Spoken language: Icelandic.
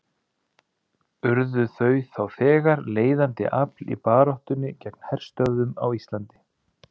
Urðu þau þá þegar leiðandi afl í baráttunni gegn herstöðvum á Íslandi.